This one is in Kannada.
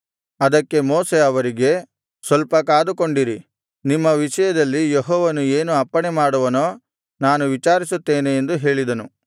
ಅದಕ್ಕೆ ಮೋಶೆ ಅವರಿಗೆ ಸ್ವಲ್ಪ ಕಾದುಕೊಂಡಿರಿ ನಿಮ್ಮ ವಿಷಯದಲ್ಲಿ ಯೆಹೋವನು ಏನು ಅಪ್ಪಣೆಮಾಡುವನೋ ನಾನು ವಿಚಾರಿಸುತ್ತೇನೆ ಎಂದು ಹೇಳಿದನು